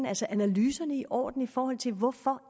altså analyserne i orden i forhold til hvorfor